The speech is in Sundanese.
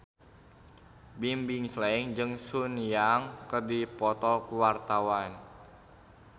Bimbim Slank jeung Sun Yang keur dipoto ku wartawan